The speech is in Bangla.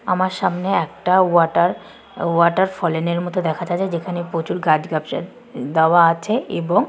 আমরা সামনে একটা ওয়াটার ওয়াটার ফলেনের মতো দেখা যাচ্ছে যেখানে প্রচুর গাছ দেওয়া আছে এবং--